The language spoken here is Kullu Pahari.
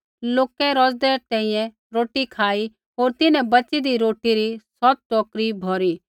लोकै रौज़दै तैंईंयैं रोटी खाई होर तिन्हैं बच़ीदी रोटी री सौत टोकरी भौरी